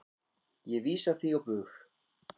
Ég vísa því á bug.